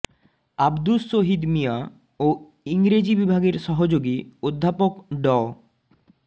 আব্দুস শহীদ মিয়া ও ইংরেজি বিভাগের সহযোগী অধ্যাপক ড